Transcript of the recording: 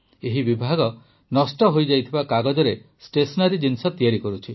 ଏହି ବିଭାଗ ନଷ୍ଟ ହୋଇଯାଇଥିବା କାଗଜରେ ଷ୍ଟେସନାରୀ ଜିନିଷ ତିଆରି କରୁଛି